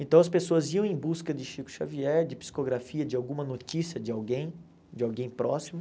Então as pessoas iam em busca de Chico Xavier, de psicografia, de alguma notícia de alguém, de alguém próximo.